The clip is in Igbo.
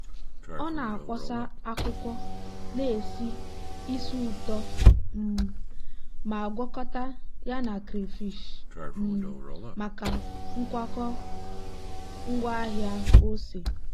ọ na-akpọsa akwụkwọ na-esi ísì ụtọ um ma gwakọta ya na crayfish um maka nkwakọ ngwaahịa ose.